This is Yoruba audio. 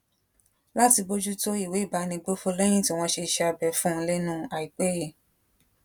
láti bójú tó ìwé ìbánigbófò léyìn tí wón ṣe iṣé abẹ fún un lénu àìpé yìí